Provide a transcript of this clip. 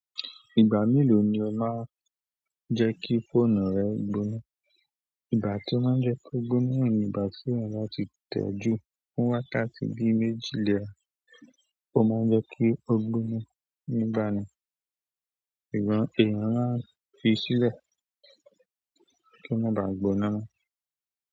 Ìgbà mélòó ni ẹ máa ń jẹ́ kí fóònù rẹ gbóná? Ìgbà tí ó máa ń jẹ́ kó gbóná ni ìgbà tí mo báa ti tẹ̀ ju fún wákàtí bí méjì lè ọ̀n, ó máa ń jẹ́ kí ó gbóná nígbà náà. Ìgbà mìíràn a fi sílẹ̀ kí ó máa ba gbóná mọ.